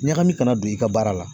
Ɲagami kana don i ka baara la.